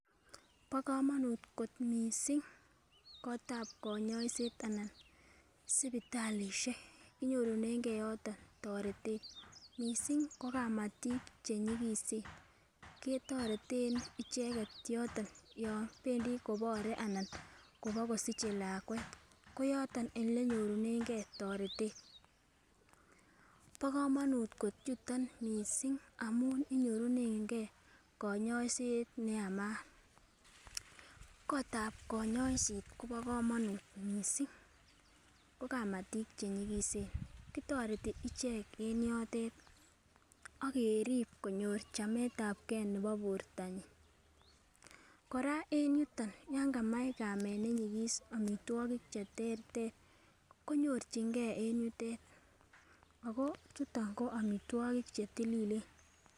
Bo kamanut sipitalisiek amun kinyorunen toretet missing ko kamatik chenyikisen ketoretn icheket yotok yon bendi kosiche lakwet. Bo kamanut yuton missing amun inyorunege kanyoiset neyamat, kitoreti kamatik chenyikisen akerib konyor chametabgei nebo borto nyin ako yan kamch omitwogik cheterter konyorchingei chetililen.